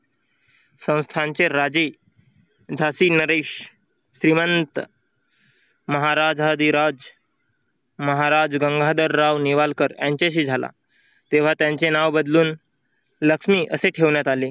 संस्थांचे राजे झाशी नरेश श्रीमंत महाराजाधिराज महाराज गंगाधरराव नेवालकर यांच्याशी झाला तेव्हा त्यांचे नाव बदलून लक्ष्मी असे ठेवण्यात आले.